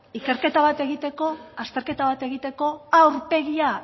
ikerketa bat egiteko azterketa bat egiteko a aurpegia